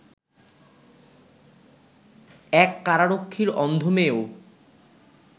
এক কারারক্ষীর অন্ধ মেয়েও